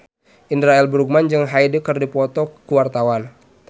Indra L. Bruggman jeung Hyde keur dipoto ku wartawan